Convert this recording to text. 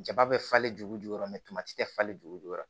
Jaba bɛ falen juru jukɔrɔ tɛ falen jukɔrɔ